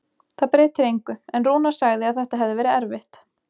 Það breytir engu, en Rúnar sagði að þetta hefði verið erfitt.